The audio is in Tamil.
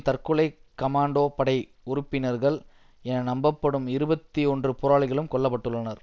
தற்கொலை கமாண்டோ படை உறுப்பினர்கள் என நம்பப்படும் இருபத்தி ஒன்று போராளிகளும் கொல்ல பட்டுள்ளனர்